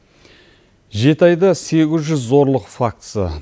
жеті айда сегіз жүз зорлық фактісі